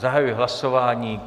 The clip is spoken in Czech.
Zahajuji hlasování.